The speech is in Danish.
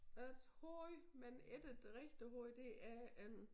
Et hoved men ikke et rigtig hoved det er en